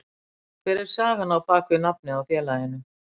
Hver er sagan á bakvið nafnið á félaginu?